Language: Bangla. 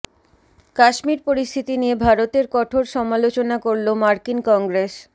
কাশ্মীর পরিস্থিতি নিয়ে ভারতের কঠোর সমালোচনা করল মার্কিন কংগ্রেস